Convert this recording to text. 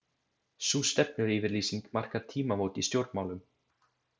Sú stefnuyfirlýsing markar tímamót í stjórnmálum.